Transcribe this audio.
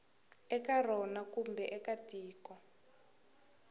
eka rona kumbe eka tiko